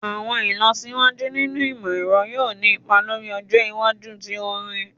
Awọn ilọsiwaju ninu imọ-ẹrọ yoo ni ipa lori ọjọ iwaju ti orin